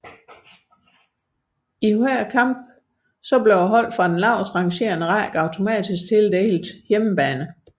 I hver kamp blev holdet fra den lavest rangerende række automatisk tildelt hjemmebane